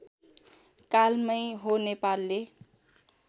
कालमै हो नेपालले